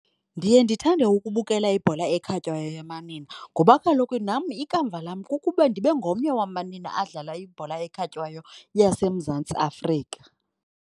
Ndiye ndithande ukubukela ibhola ekhatywayo yamanina ngoba kaloku nam ikamva lam kukuba ndibe ngomnye wamanina adlala ibhola ekhatywayo yaseMzantsi Afrika.